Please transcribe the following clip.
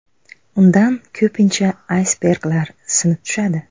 Undan ko‘pincha aysberglar sinib tushadi.